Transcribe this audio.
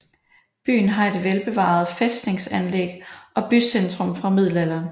Byen har et velbevaret fæstningsanlæg og bycentrum fra middelalderen